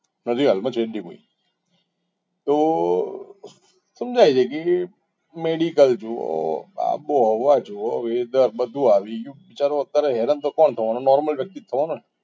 હજી હાલમાં જયંતિ ભાઈ તો તો સમજાય છે કે medical આબોહવા જુઓ weather બધું આવી ગયું. ચાલો અત્યારે હેરાન તો કોણ થવાનું normal વ્યક્તિ જ થવાનો ને